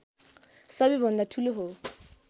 सबैभन्दा ठूलो हो